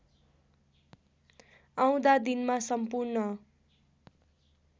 आउँदा दिनमा सम्पूर्ण